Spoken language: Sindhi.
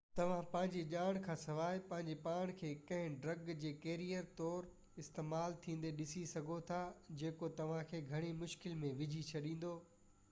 توهان پنهنجي ڄاڻ کانسواءِ پنهنجو پاڻ کي ڪنهن ڊرگ جي ڪيريئر طور استعمال ٿيندي ڏسي سگهو ٿا جيڪو توهان کي گهڻي مشڪل ۾ وجهي ڇڏيندو